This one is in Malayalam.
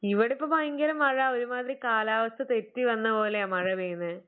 ഇവിടിപ്പം ഭയങ്കര മഴ ഒരുമാതിരി കാലാവസ്ഥ തെറ്റി വന്ന പോലെയാ മഴ പെയ്യുന്നെ.